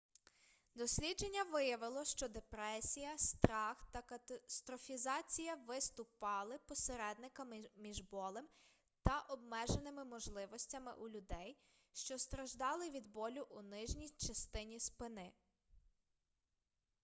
дослідження виявило що депресія страх та катастрофізація виступали посередниками між болем та обмеженими можливостями у людей що страждали від болю у нижній частині спини